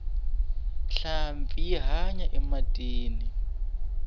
nhlampfi yi hanya ematini